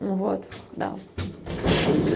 ну вот да